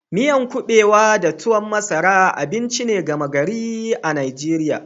Miyan kubewa da tuwon masara abinci ne gama gari a Arewa.